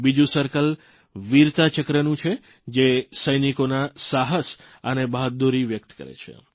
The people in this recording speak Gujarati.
બીજું સર્કલ વીરતા ચક્રનું છે જે સૈનિકોના સાહસ અને બહાદુરી વ્યકત કરે છે